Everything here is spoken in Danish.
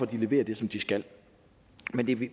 de leverer det som de skal